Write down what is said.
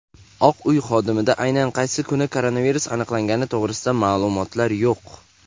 Oq uy xodimida aynan qaysi kuni koronavirus aniqlangani to‘g‘risida ma’lumotlar yo‘q.